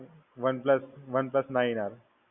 OnePlus OnePlus Nine R